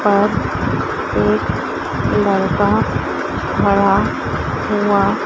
और एक लड़का खड़ा हुआ--